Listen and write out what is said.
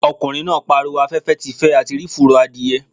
Ọkùnrin náà pariwo 'afẹ́fẹ́ ti fẹ́ a ti rí fùrọ̀ adìẹ'